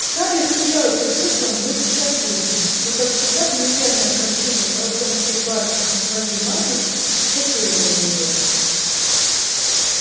скарлетт смеялась их шуткам вместе со всеми но как всегда фамильярное обращение тарлтонских барышень со своей матерью шокировало её